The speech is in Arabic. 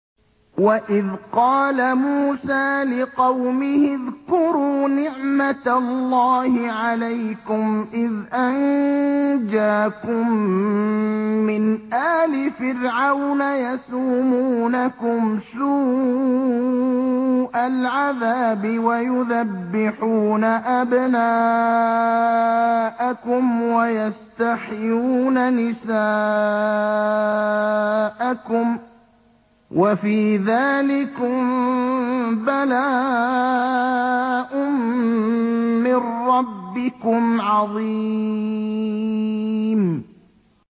وَإِذْ قَالَ مُوسَىٰ لِقَوْمِهِ اذْكُرُوا نِعْمَةَ اللَّهِ عَلَيْكُمْ إِذْ أَنجَاكُم مِّنْ آلِ فِرْعَوْنَ يَسُومُونَكُمْ سُوءَ الْعَذَابِ وَيُذَبِّحُونَ أَبْنَاءَكُمْ وَيَسْتَحْيُونَ نِسَاءَكُمْ ۚ وَفِي ذَٰلِكُم بَلَاءٌ مِّن رَّبِّكُمْ عَظِيمٌ